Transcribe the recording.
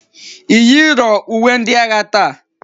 Iyiro uwe ndi agha taa?